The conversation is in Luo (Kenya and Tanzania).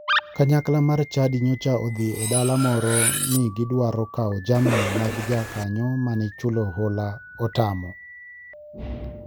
Kanyakla mar chadi nyocha odhi e dala moro ni gidwaro kawo jamni mag jakanyo mane chulo hola otamo.